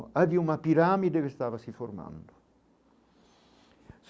Havia uma pirâmide que estava se formando.